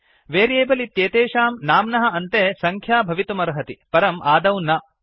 variable इत्येतेषां नाम्नः अन्ते सङ्ख्या भवितुमर्हति परम् आदौ न